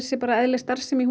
sé eðlileg starfsemi